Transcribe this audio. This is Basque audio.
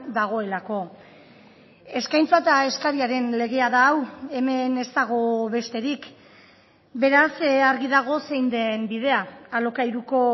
dagoelako eskaintza eta eskariaren legea da hau hemen ez dago besterik beraz argi dago zein den bidea alokairuko